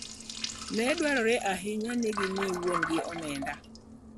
Ne dwarore ahinya ni gimi wuon-gi omenda.